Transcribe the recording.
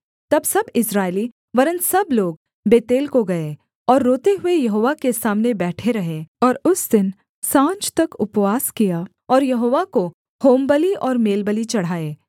तब सब इस्राएली वरन् सब लोग बेतेल को गए और रोते हुए यहोवा के सामने बैठे रहे और उस दिन साँझ तक उपवास किया और यहोवा को होमबलि और मेलबलि चढ़ाए